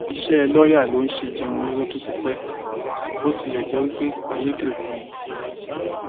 iṣẹ lọọyà ló ń ṣe jẹun lọjọ tó ti pẹ bó tilẹ jẹ pé ayédèrú ni